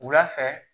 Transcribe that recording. Wula fɛ